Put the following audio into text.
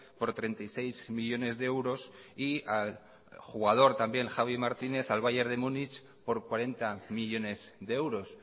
por treinta y seis millónes de euros y al jugador también javi martínez al bayer de munich por cuarenta millónes de euros